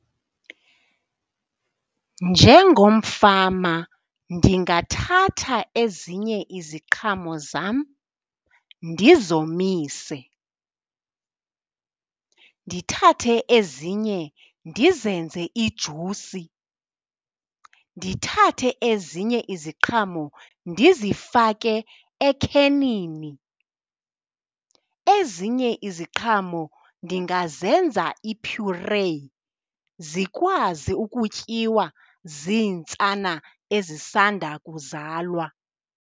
Njengomfama ndingathatha ezinye iziqhamo zam ndizomise, ndithathe ezinye ndizenze ijusi, ndithathe ezinye iziqhamo ndizifake ekhenini. Ezinye iziqhamo ndingazenza iphyureyi zikwazi ukutyiwa ziintsana ezisanda kuzalwa.